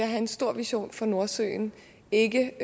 have en stor vision for nordsøen ikke